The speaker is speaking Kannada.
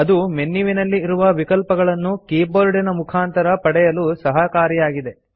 ಅದು ಮೆನ್ಯುವಿನಲ್ಲಿ ಇರುವ ವಿಕಲ್ಪಗಳನ್ನು ಕೀಬೋರ್ಡಿನ ಮುಖಾಂತರ ಪಡೆಯಲು ಸಹಕಾರಿಯಾಗಿದೆ